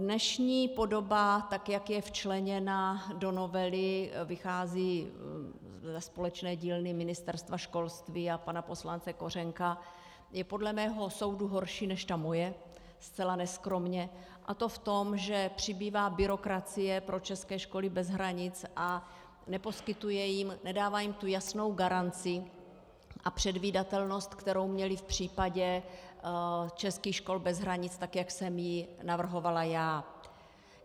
Dnešní podoba, tak jak je včleněna do novely, vychází ze společné dílny Ministerstva školství a pana poslance Kořenka, je podle mého soudu horší než ta moje - zcela neskromně -, a to v tom, že přibývá byrokracie pro české školy bez hranic a nedává jim tu jasnou garanci a předvídatelnost, kterou měly v případě českých škol bez hranic, tak jak jsem ji navrhovala já.